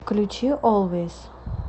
включи олвэйс